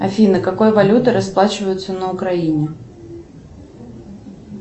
афина какой валютой расплачиваются на украине